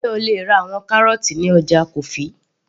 sé o lè ra àwọn kárọ́ọ́tì ní ọjà kofi